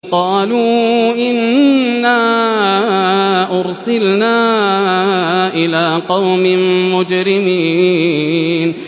قَالُوا إِنَّا أُرْسِلْنَا إِلَىٰ قَوْمٍ مُّجْرِمِينَ